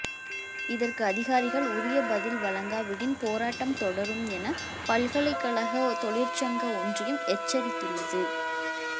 இதற்கு அதிகாரிகள் உரிய பதில் வழங்காவிடின் போராட்டம் தொடரும் என பல்கலைக்கழக தொழிற்சங்க ஒன்றியம் எச்சரித்துள்ளது